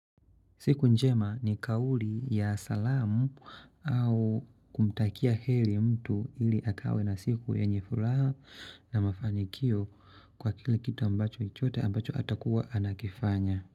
Siku njema ni kauli ya salamu au kumtakia heri mtu ili akawa na siku yenyefuraha na mafanikio kwa kila kitu ambacho atakuwa anakifanya.